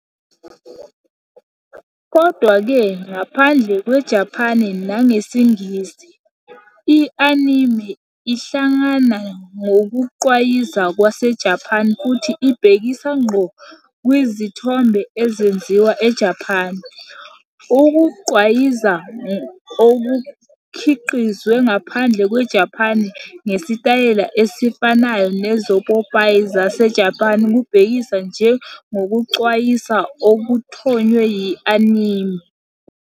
Kodwa-ke, ngaphandle kweJapane nangesiNgisi, i-anime ihlangana ngokugqwayiza kwaseJapan futhi ibhekisa ngqo kwizithombe ezenziwa eJapan. Ukugqwayiza okukhiqizwe ngaphandle kweJapane ngesitayela esifanayo nezopopayi zaseJapan kubhekiswa njengokugqwayiza okuthonywe yi-anime.